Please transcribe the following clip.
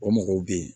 O mɔgɔw bɛ yen